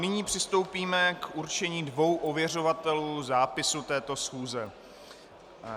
Nyní přistoupíme k určení dvou ověřovatelů zápisu této schůze.